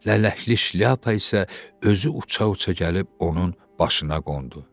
Lələkli şlyapa isə özü uça-uça gəlib onun başına qondu.